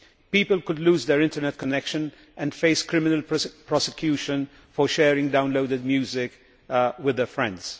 People could lose their internet connection and face criminal prosecution for sharing downloaded music with their friends.